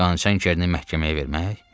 Qan çənini məhkəməyə vermək?